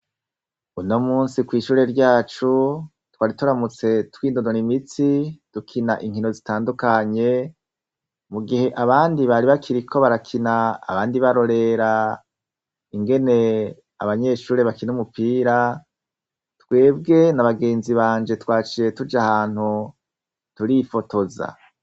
Unomunsi kwishure ryacu twari turamutse twinonora imitsi dukina inkino zitandukanye mugihe abandi bari bakiriko barakina abandi barorera ingene abanyeshure bakina umupira twebwe nabagenzi banje twaciye tujahantu turifotoza